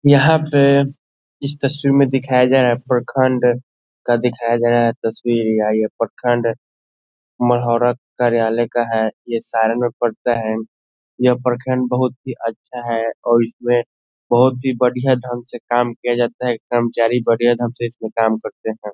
यहाँ पे इस तस्वीर में दिखाया गया है प्रखंड का दिखाया गया है तस्वीर यह प्रखंड कार्यालय का है यह सारन में पड़ता है यह प्रखंड बहुत ही अच्छा है और इसमें बहुत ही बढ़िया ढंग से काम किया जाता है कर्मचारी बढ़िया ढंग से काम करते हैं।